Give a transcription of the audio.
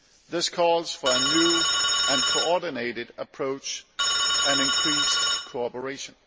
This calls for a new and coordinated approach and increased cooperation.